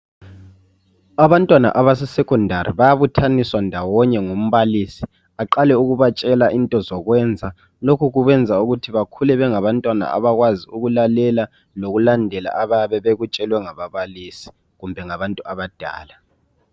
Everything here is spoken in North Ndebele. Abantwana abase sekhondari bayabuthaniswa ngumbalisi aqale ukubatshela into zokwenza lokhu kubenza bakhule bengabantwna abakwzi ukulalela lokulandela abayabe bekutshelwe nganbabalisi kumbe ngaabantu abadala.